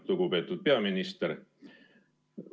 Lugupeetud peaminister!